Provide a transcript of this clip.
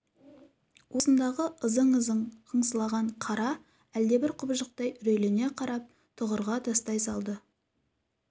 уысындағы ызың-ызың қыңсылаған қара әлдебір құбыжықтай үрейлене қарап тұғырға тастай салды